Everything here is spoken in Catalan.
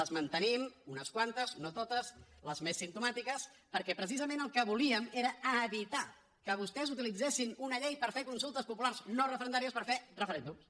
les mantenim unes quantes no totes les més simptomàtiques perquè precisament el que volíem era evitar que vostès utilitzessin una llei per fer consultes populars no referendàries per fer referèndums